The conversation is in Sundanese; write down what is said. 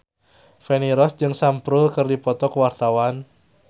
Feni Rose jeung Sam Spruell keur dipoto ku wartawan